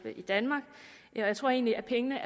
i danmark jeg tror egentlig at pengene